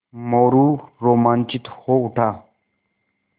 मोरू रोमांचित हो उठा